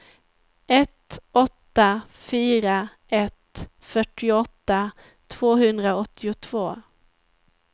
ett åtta fyra ett fyrtioåtta tvåhundraåttiotvå